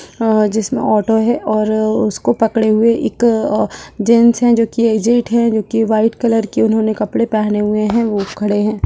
और जिसमें ऑटो है और उसको पकड़े हुए एक जेंट्स है जो की एज्ड है जो की वाइट कलर के उन्होंने कपड़े पहने हुए है वो खड़े है।